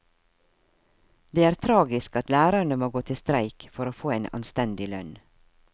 Det er tragisk at lærerne må gå til streik for å få en anstendig lønn.